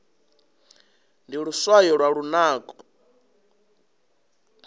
ndi luswayo lwa lunako